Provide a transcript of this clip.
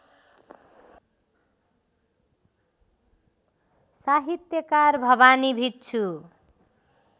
साहित्यकार भवानी भिक्षु